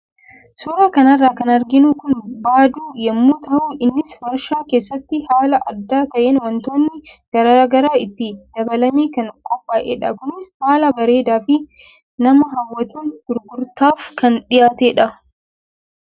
Suuraa kana irraa kan arginu kun baaduu yemmuu tahu innis warshaa keessatti haala adda taheen waantootni garaagaraa itti dabalamee kan qophaaeedha. Kunis haala bareedaa fi nama hawwatuun gurgurtaaf kan dhiyaatedha.